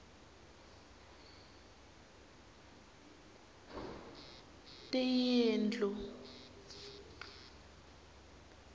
tiyindlu